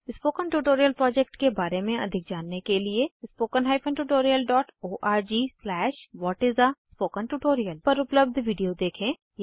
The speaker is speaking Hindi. स्पोकन ट्यूटोरियल प्रोजेक्ट के बारे में अधिक जानने के लिए httpspoken tutorialorgWhat is a Spoken Tutorial पर उपलब्ध वीडियो देखें